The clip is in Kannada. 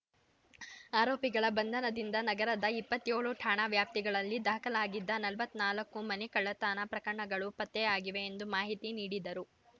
ಆರೋಪಿಗಳ ಬಂಧನದಿಂದ ನಗರದ ಇಪ್ಪತ್ತ್ಯೋಳು ಠಾಣಾ ವ್ಯಾಪ್ತಿಗಳಲ್ಲಿ ದಾಖಲಾಗಿದ್ದ ನಲವತ್ತ್ ನಾಲ್ಕು ಮನೆಕಳ್ಳತನ ಪ್ರಕರಣಗಳು ಪತ್ತೆಯಾಗಿವೆ ಎಂದು ಮಾಹಿತಿ ನೀಡಿದರು